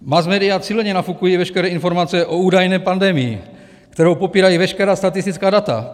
Masmédia silně nafukují veškeré informace o údajné pandemii, kterou popírají veškerá statistická data.